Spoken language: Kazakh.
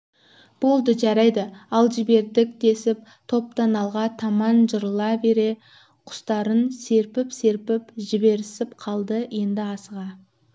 болды жарайды ал жібердік десіп топтан алға таман жырыла бере құстарын серпіп-серпіп жіберісіп қалды енді асыға